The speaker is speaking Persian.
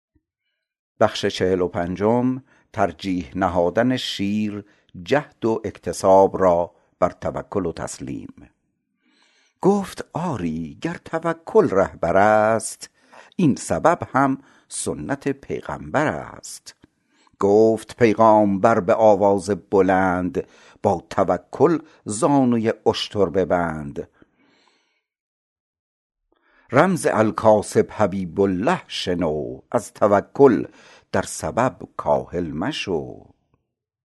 گفت آری گر توکل رهبر ست این سبب هم سنت پیغمبر ست گفت پیغامبر به آواز بلند با توکل زانو ی اشتر ببند رمز الکاسب حبیب الله شنو از توکل در سبب کاهل مشو